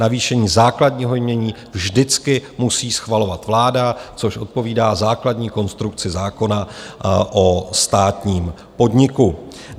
Navýšení základního jmění vždycky musí schvalovat vláda, což odpovídá základní konstrukci zákona o státním podniku.